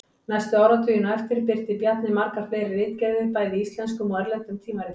Næstu áratugina á eftir birti Bjarni margar fleiri ritgerðir bæði í íslenskum og erlendum tímaritum.